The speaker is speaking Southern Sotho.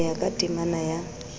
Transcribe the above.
ho ya ka temana ya